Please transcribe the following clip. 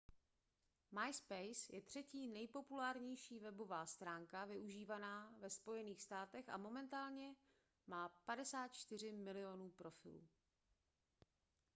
myspace je třetí nejpopulárnější webová stránka využívaná ve spojených státech a momentálně má 54 milionů profilů